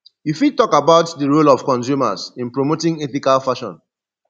you fit talk about di role of consumers in promoting ethical fashon